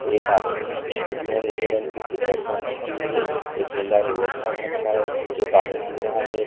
एक आदमी है जिसने नीले रंग की टी शर्ट पहन रखी हुई है एक नीला लोअर पहन रखा है जो पानी पी रहा है।